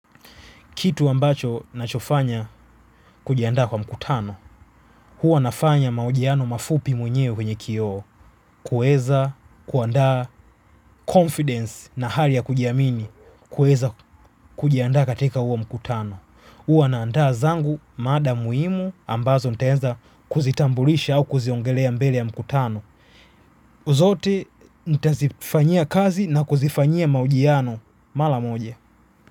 Kitu ambacho nachofanya kujianda kwa mkutano, huwa nafanya mahojiano mafupi mwenyewe kwenye kioo, kuweza kuandaa confidence na hali ya kujiamini, kuweza kujianda katika huwa mkutano. Huwa naandaa zangu mada muhimu ambazo ntaweza kuzitambulisha au kuziongelea mbele ya mkutano. Zote nitazifanyia kazi na kuzifanyia mahojiano mara moja.